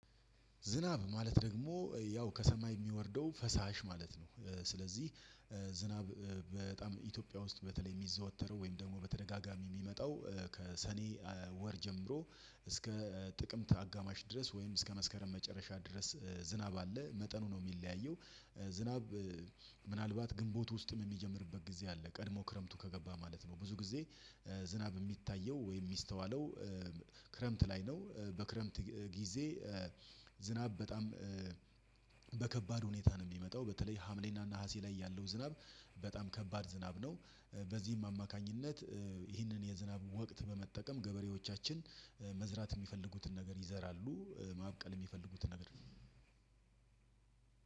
ዝናብ ማለት ደግሞ ያው ከሰማይ የሚወርደው ፈሳሽ ማለት ነው። ስለዚህ ዝናብ በጣም ኢትዮጵያ ውስጥ በተለይ የሚዘወተረው ወይም ደግሞ በተደጋጋሚ የሚመጣው ከሰኔ ወር ጀምሮ እስከ ጥቅምት አጋማሽ ድረስ ወይም እስከ መስከረም መጨረሻ ድረስ ዝናብ አለ መጠኑ ነው የሚለያየው። ምናልባት ግንቦት ውስጥም የሚጀምርበት ጊዜ አለ ቀድሞ ክረምቱ ከገባ ማለት ነው። ብዙ ጊዜ ዝናብ የሚታየው ወይም የሚስተዋለው ክረምት ላይ ነው። በክረምት ጊዜ ዝናብ በጣም በከባድ ሁኔታ ነው የሚመጣው በተለይ ሀምሌና እና ነሀሴ ላይ ያለው ዝናብ በጣም ከባድ ዝናብ ነው። በዚህም አማካኝነት ይህንን የዝናብ ወቅት በመጠቀም ገበሬዎቻችን መዝራት የሚፈልጉትን ነገር ይዘራሉ። ማቅል የሚፈልጉትን ነገር